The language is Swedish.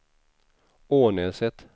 Ånäset